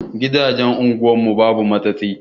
Gidajen unguwar mu babu matsatsi.